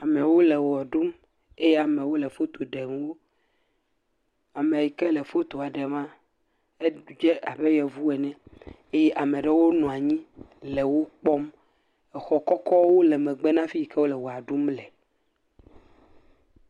Amewo le ʋe ɖum eye amewo le foto ɖem wo. Ame yi ke le fotoa ɖem la, edze abe yevu ene eye ame aɖewo nɔ anyile wo kpɔm. Xɔ kɔkɔwo le megbe na afi yi ke wole ʋea ɖum le.